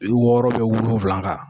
Bi wɔɔrɔ bɛ wolonwula kan